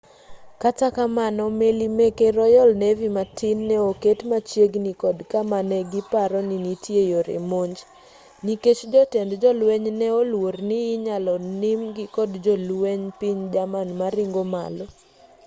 kata kamano meli meke royal navy matin ne oket machiegini kod kama negiparo ni nitie yore monj nikech jotend jolweny ne oluorni inyalo nim-gi kod jolwenj piny german maringo malo